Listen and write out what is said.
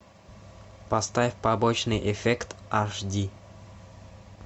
поставь побочный эффект аш ди